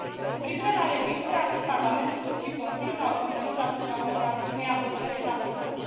Cu privire la registre, atât Parlamentul, cât și Consiliul au convenit asupra unei abordări etapizate.